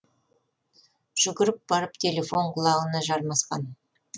жүгіріп барып телефон құлағына жармасқан